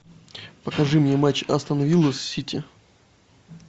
покажи мне матч астон вилла с сити